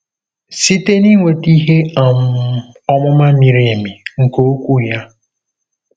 Site n'inweta ihe um ọmụma miri emi nke Okwu ya.